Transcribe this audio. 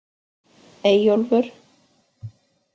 Eyjólfur